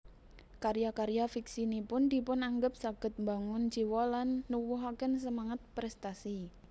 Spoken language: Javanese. Karya karya fiksinipun dipunanggep saged mbangun jiwa lan nuwuhaken semangat prèstasi